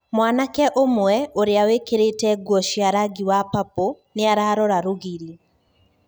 Mwanake ũmwe, ũria wikirite guo cia rangi wa papo niararora rũgiri.